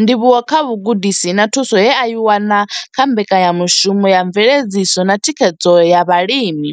Ndivhuwo kha vhugudisi na thuso ye a i wana kha mbekanyamushumo ya mveledziso na thikhedzo ya vhalimi